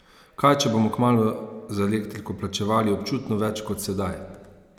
Kaj, če bomo kmalu za elektriko plačevali občutno več kot sedaj?